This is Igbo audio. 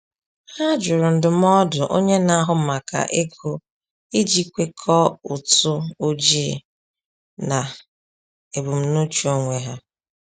Ha jụrụ ndụmọdụ onye na-ahụ maka ego iji kwekọọ ụtụ ojii na ebumnuche onwe ha.